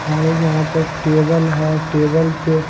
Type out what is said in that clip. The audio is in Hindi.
हमारे यहां पर टेबल है टेबल पे--